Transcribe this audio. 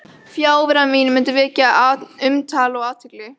Fjarvera mín mundi vekja umtal og athygli.